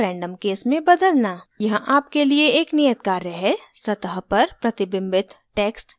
यहाँ आपके लिए एक नियत कार्य है सतह पर प्रतिबिंबित text inkscape बनाएं